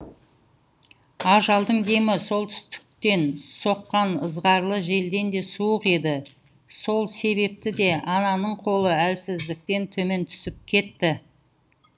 ажалдың демі солтүстіктен соққан ызғарлы желден де суық еді сол себепті де ананың қолы әлсіздіктен төмен түсіп кетті